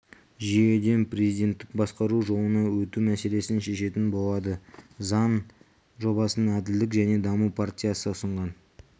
жүйеден президенттік басқару жолына өту мәселесін шешетін болады заң жобасын әділдік және даму партиясы ұсынған